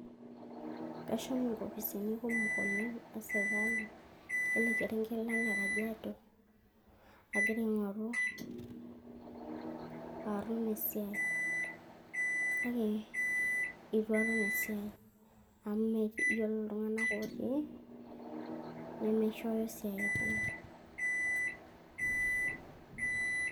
Kashomo inkopisini kumok oleng' esirkali ele kerenket Lang' lekajiado agira aing'oru esiai kake eitu atum esiai amu ore iltung'anak otii nemeishoyo esiatin